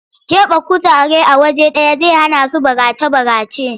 Ƙeɓe kutare a waje ɗaya zai hanasu barace-barace.